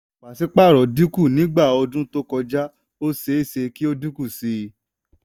pàṣípàrọ̀ dínkù nígbà ọdún tó kọjá ó ṣeé ṣe kí ó dínkù sí i.